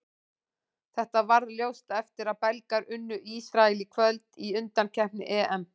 Þetta varð ljóst eftir að Belgar unnu Ísrael í kvöld í undankeppni EM.